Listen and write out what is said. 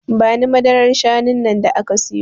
Bani madarar shanun nan da ka siyo